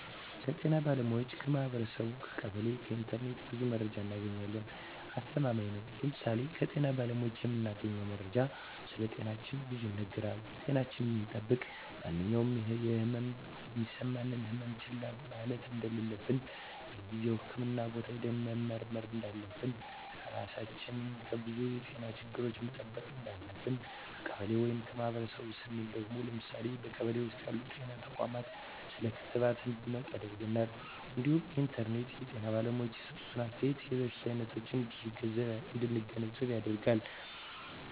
ከጤና ባለሙያዎች ,ከማህበረሰቡ , ከቀበሌ ,ከኢንተርኔት ብዙ መረጃ እናገኛለን። አስተማማኝ ነው ለምሳሌ ከጤና ባለሙያዎች የምናገኘው መረጃ ስለጤናችን ብዙ ይናገራል ጤናችን እንድጠብቅ ማንኛውም የህመም የሚሰማን ህመሞች ችላ ማለት እንደለለብን በጊዜው ህክምህና ቦታ ሄደን መመርመር እንዳለብን, ራሳችን ከብዙ የጤና ችግሮች መጠበቅ እንዳለብን። ከቀበሌ ወይም ከማህበረሰቡ ስንል ደግሞ ለምሳሌ በቀበሌ ውስጥ ያሉ ጤና ተቋማት ስለ ክትባት እንድናውቅ ያደርገናል እንዲሁም ከኢንተርኔት የጤና ባለሙያዎች የሰጡትን አስተያየት የበሽታ አይነቶች እንድንገነዘብ ያደርጋል።